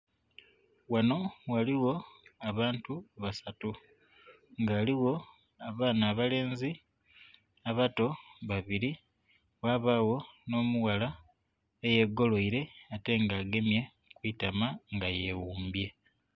Ghano ghaligho abantu basatu nga ghaligho abaana abalenzi abato babiri ghabagho nho mu ghala eye golweire ate nga agemye kwitama nga yeghumbye.